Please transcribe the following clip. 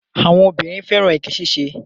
Àwọn obìnrin fẹ́ràn èké ṣiṣẹ́.